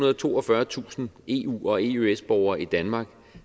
og toogfyrretusind eu og eøs borgere i danmark